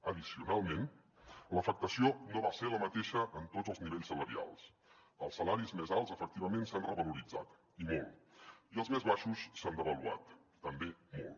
addicionalment l’afectació no va ser la mateixa en tots els nivells salarials els salaris més alts efectivament s’han revaloritzat i molt i els més baixos s’han devaluat també molt